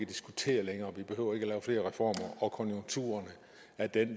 diskutere længere vi behøver ikke lave flere reformer konjunkturerne er det